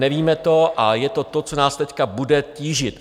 Nevíme to a je to to, co nás teď bude tížit.